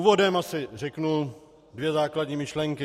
Úvodem asi řeknu dvě základní myšlenky.